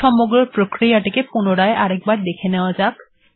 সমগ্র প্রক্রিয়াটিকে পুনরায় দেখে নেওয়া যাক